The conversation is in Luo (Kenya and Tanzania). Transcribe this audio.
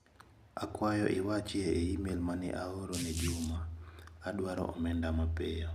Akwayo iwachi e imel mane aoro ne Juma, adwaro omenda mapiyo